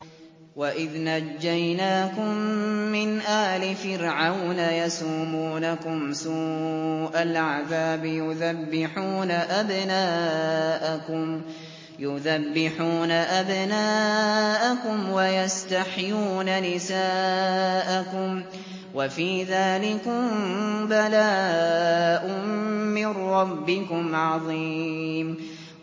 وَإِذْ نَجَّيْنَاكُم مِّنْ آلِ فِرْعَوْنَ يَسُومُونَكُمْ سُوءَ الْعَذَابِ يُذَبِّحُونَ أَبْنَاءَكُمْ وَيَسْتَحْيُونَ نِسَاءَكُمْ ۚ وَفِي ذَٰلِكُم بَلَاءٌ مِّن رَّبِّكُمْ عَظِيمٌ